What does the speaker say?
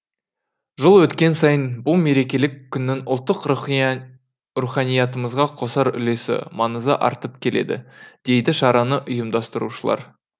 жыл өткен сайын бұл мерекелік күннің ұлттық руханиятымызға қосар үлесі маңызы артып келеді дейді шараны ұйымдастырушылар